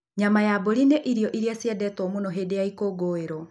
Nyama ya mbũri nĩ yo irio iria ciendetwo mũno hĩndĩ ya ikũngũĩro.